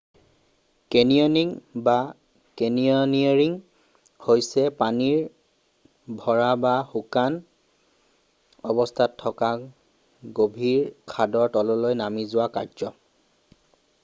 Canyoning বা canyoneering হৈছে পানীৰে ভৰা বা শুকান অৱস্থাত থকা গভীৰ খাদৰ তললৈ নামি যোৱা কাৰ্য।